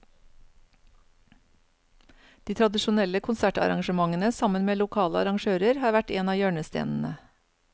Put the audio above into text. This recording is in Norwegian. De tradisjonelle konsertarrangementene sammen med lokale arrangører har vært en av hjørnestenene.